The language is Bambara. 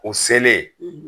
O selen,